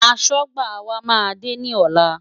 Aṣọ́gbà wa máa dé ní ọ̀la.